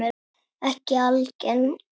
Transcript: Ekki algeng.